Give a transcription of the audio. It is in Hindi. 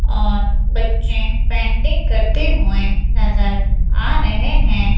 और बच्चे पेंटिंग करते हुए नजर आ रहे हैं।